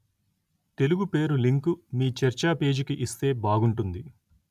తెలుగు పేరు లింకు మీ చర్చా పేజీకి ఇస్తే బాగుంటుంది